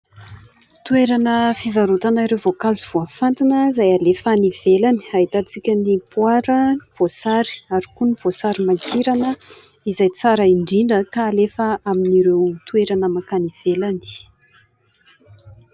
Toerana fivarotana ireo voankazo voafantina izay alefa any ivelany, ahitantsika ny poara, voasary ary koa ny voasary makirana izay tsara indrindra ka alefa amin'ireo toerana mankany ivelany.